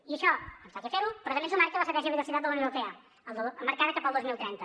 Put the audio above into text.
i això ens toca fer ho però també ens ho marca l’estratègia de biodiversitat de la unió europea marcada cap al dos mil trenta